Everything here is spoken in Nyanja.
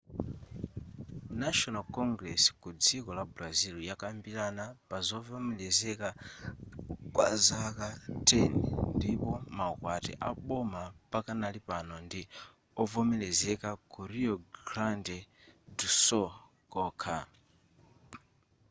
national congress ku dziko la brazil yakambirana pazovomerezeka kwa zaka 10 ndipo maukwati aboma pakanali pano ndi ovomerezeka ku rio grande do sul kokha